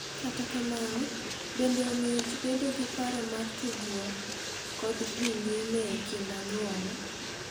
Kata kamano, bende omiyo ji bedo gi paro mar tudruok kod dhi nyime e kind anyuola.